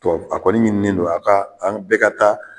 Ɔ a kɔni ɲini nen don a ka an bɛɛ ka taa.